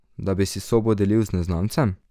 Da bi si sobo delil z neznancem?